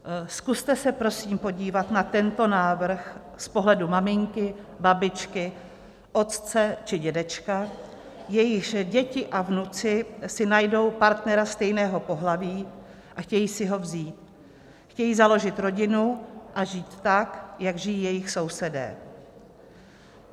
Zkuste se prosím podívat na tento návrh z pohledu maminky, babičky, otce či dědečka, jejichž děti a vnuci si najdou partnera stejného pohlaví a chtějí si ho vzít, chtějí založit rodinu a žít tak, jak žijí jejich sousedé.